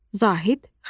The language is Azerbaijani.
Zahid Xəlil.